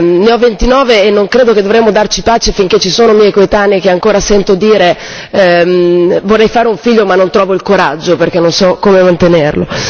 Io ne ho 29 e non credo che dovremmo darci pace finché ci sono miei coetanei a cui ancora sento dire vorrei fare un figlio ma non trovo il coraggio perché non so come mantenerlo.